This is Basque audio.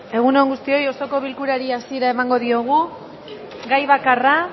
egun on guztioi osoko bilkurari hasiera emango diogu gai bakarra